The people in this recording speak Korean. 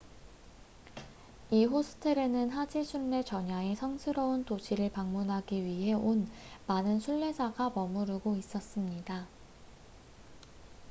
이 호스텔에는 하지 순례 전야에 성스러운 도시를 방문하기 위해 온 많은 순례자가 머무르고 있었습니다